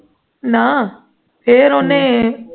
ਨਾ ਫਿਰ ਉਹਨੇ